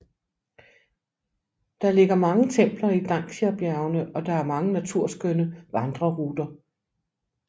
Det ligger mange templer i Dangxiabjergene og der er mange naturskønne vandreruter